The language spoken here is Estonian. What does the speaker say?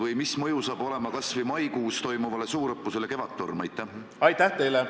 Aga täna hommikul ma konsulteerisin Terviseameti juhiga, ka tema tunnetus on see, et rohkem kui 100 inimesega üritusi ei maksa lähiajal pidada.